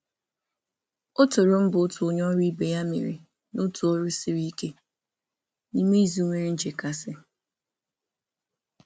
Ọ toro mbọ onye ọrụ ibe ya n’orụ siri ike n’izu jupụtara na nrụgide.